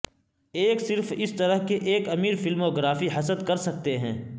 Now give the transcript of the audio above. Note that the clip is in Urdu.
ایک صرف اس طرح کے ایک امیر فلموگرافی حسد کر سکتے ہیں